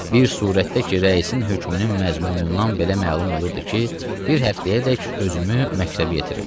Bir surətdə ki, rəisin hökmünün məzmunundan belə məlum olurdu ki, bir həftəyədək özümü məktəbə yetirim.